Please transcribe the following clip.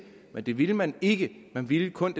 men det ville man ikke man ville kun